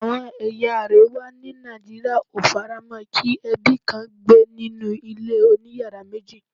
Àwọn ẹ̀yà àríwá ni Nigeria ó faramo kí ebi kàn gbé nínú ilé oniyara meji